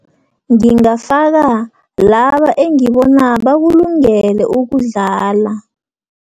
Ngingafaka, laba engibona bakulungele ukudlala.